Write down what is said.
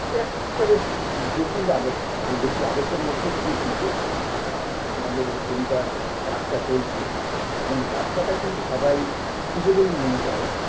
এ এক একটা বেশ জটিল আবর্ত হয় এই জটিল আবর্তের মধ্যে দিয়েই কিন্তু আ আমাদের এই কবিতার যাত্রা চলছে এবং যাত্রাটা কিন্তু সবাই শুভ বলেই মনে করে